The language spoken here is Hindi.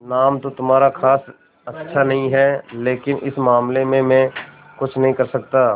नाम तो तुम्हारा खास अच्छा नहीं है लेकिन इस मामले में मैं कुछ नहीं कर सकता